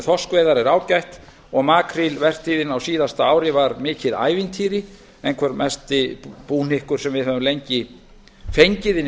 þorskveiðar er ágætt og markrílvertíðin á síðasta ári var mikið ævintýri einhver mesti búhnykkur sem við höfum lengi fengið inn í